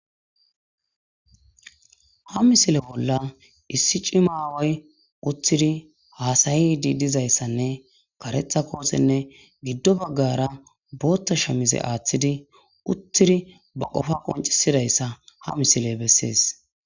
Ha misile bolla issi cimma away uththidi hasayidi dizayissanne karetha kothenne giddo baagara boththa shamize aththidi uththida ba qofa qonccisidaysa ha misile besses.